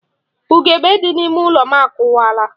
Ugebe dị n'ime ụlọ akụwaala.